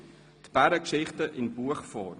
Die Bärengeschichten in Buchform.